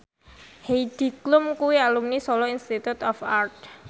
Heidi Klum kuwi alumni Solo Institute of Art